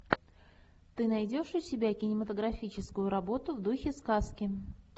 ты найдешь у себя кинематографическую работу в духе сказки